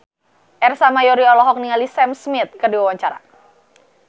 Ersa Mayori olohok ningali Sam Smith keur diwawancara